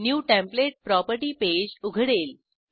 new template property page उघडेल